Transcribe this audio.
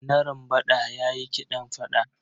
Narambaɗa ya yi kiɗan fada.